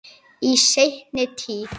Í seinni tíð.